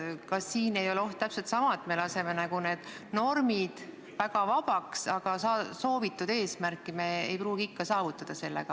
Kas siin ei ole täpselt sama oht, et laseme normid väga vabaks, aga soovitud eesmärki me ikkagi ei saavuta?